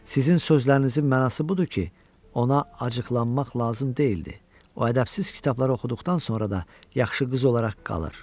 Sizin sözlərinizin mənası budur ki, ona acıqlanmaq lazım deyildi, o ədəbsiz kitablar oxuduqdan sonra da yaxşı qız olaraq qalır.